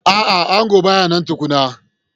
A'a, angon ba ya nan tukuna.